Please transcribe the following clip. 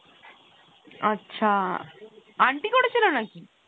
আচ্ছা , aunty করেছিল নাকি?